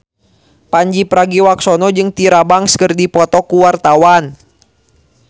Pandji Pragiwaksono jeung Tyra Banks keur dipoto ku wartawan